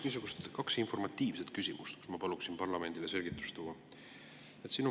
Mul on kaks informatiivset küsimust, kus ma palun parlamendile selgust tuua.